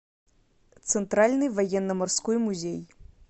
центральный военно морской музей